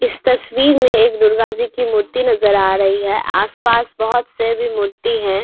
इस तस्वीर मे एक दुर्गा जी की मूर्ती नजर आ रही है आस-पास बहोत से भी मूर्ती है।